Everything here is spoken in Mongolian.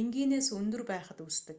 энгийнээс өндөр байхад үүсдэг